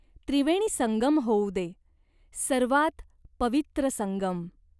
त्रिवेणीसंगम होऊ दे. सर्वात पवित्र संगम.